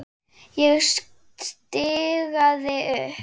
Ég stikaði upp